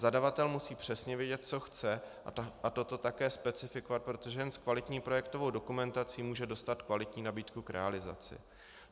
Zadavatel musí přesně vědět, co chce, a toto také specifikovat, protože jen s kvalitní projektovou dokumentací může dostat kvalitní nabídku k realizaci.